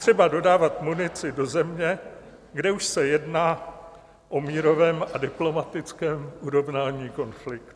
Třeba dodávat munici do země, kde už se jedná o mírovém a diplomatickém urovnání konfliktu.